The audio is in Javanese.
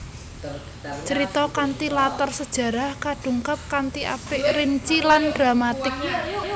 Crita kanthi latar sejarah kadungkap kanthi apik rinci lan dramatik